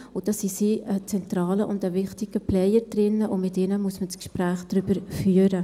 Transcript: Und da sind Sie ein zentraler und wichtiger Player drin, und mit Ihnen muss man das Gespräch darüber führen.